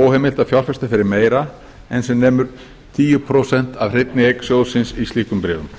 óheimilt að fjárfesta fyrir meira en sem nemur tíu prósent af hreinni eign sjóðsins í slíkum bréfum